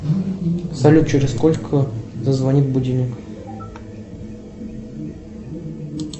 салют через сколько зазвонит будильник